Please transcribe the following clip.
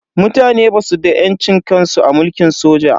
Mutane basu da yancin kansu a mulkin soja.